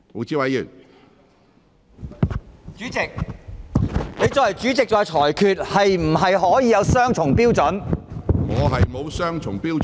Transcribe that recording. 主席，作為主席，你作出裁決是否可以有雙重標準？